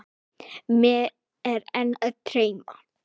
Mig er enn að dreyma.